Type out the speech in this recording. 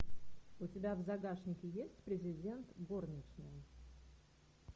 у тебя в загашнике есть президент горничная